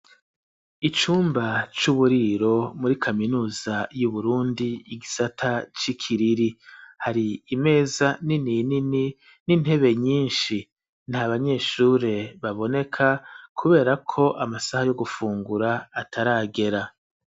Icumba c'uburiro muri kaminuza y'Uburundi, igisata c'i Kiriri, hari imeza nini nini n'intebe nyinshi; nta banyeshure baboneka, kubera ko amasaha yo gufungura ataragera.